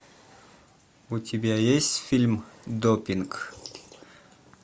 у тебя есть фильм допинг